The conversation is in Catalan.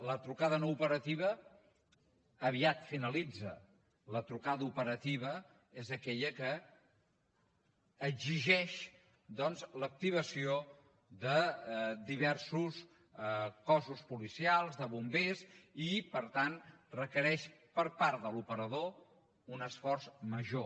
la trucada no operativa aviat finalitza la trucada operativa és aquella que exigeix doncs l’activació de diversos cossos policials de bombers i per tant requereix per part de l’operador un esforç major